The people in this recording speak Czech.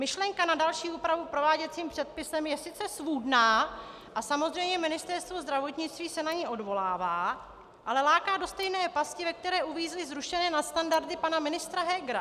Myšlenka na další úpravu prováděcím předpisem je sice svůdná a samozřejmě Ministerstvo zdravotnictví se na ni odvolává, ale láká do stejné pasti, ve které uvízly zrušené nadstandardy pana ministra Hegera.